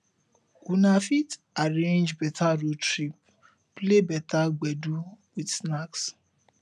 una fit arrange better road trip play better gbedu with snacks